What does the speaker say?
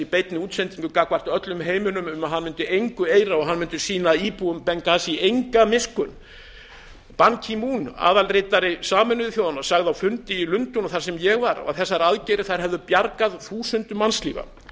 beinni útsendingu gagnvart öllum heiminum um að hann mundi engu eira og hann mundi sýna íbúum bengasí enga miskunn ban ki moon aðalritari sameinuðu þjóðanna sagði á fundi í lundúnum sem ég sat að þessar aðgerðir hefðu bjargað þúsundum mannslífa ég